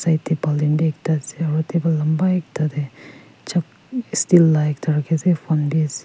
right baltin bi ekta ase aro table lamba ekta dae jug steel la ekta raki ase phone bi ase.